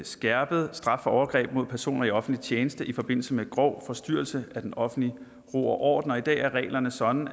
skærpet straf for overgreb mod personer i offentlig tjeneste i forbindelse med grov forstyrrelse af den offentlige ro og orden i dag er reglerne sådan